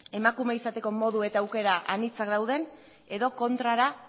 emakume izateko modu eta aukera anitza dauden edo kontrara